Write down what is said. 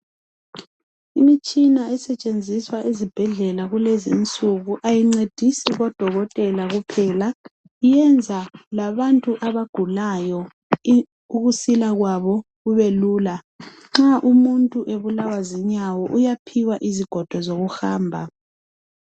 Imtshina esetshenziswa ezibhedlela kulezi insuku ayincedisi odokotela kuphela , iyenza labantu abagulayo ukusila kwabo kube lula , nxa umuntu ebulawa zinyawo uyaphiwa izigodo zokuhamba